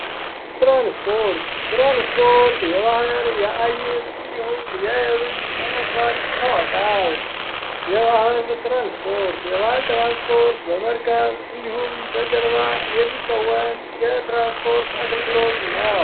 ትራንስፖርት:-ትራንስፖርት የባህር የአየር እንዲሁም የየብስ ትራንስፖርት በመባል ይታወቃል። የባህር ትራንስፖርት የባህር ትራንስፖርት የመርከብ እንዲሁም በጀልባ የሚከወን የትራንስፖርት አገልግሎት ነው።